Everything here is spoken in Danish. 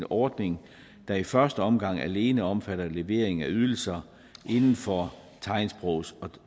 ordning der i første omgang alene omfatter levering af ydelser inden for tegnsprogs og